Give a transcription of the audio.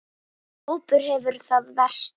Þessi hópur hefur það verst.